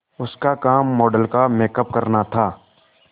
उसका काम मॉडल का मेकअप करना था